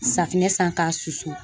Safinɛ san k'a susu